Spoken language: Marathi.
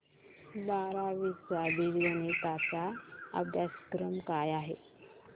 बारावी चा बीजगणिता चा अभ्यासक्रम काय आहे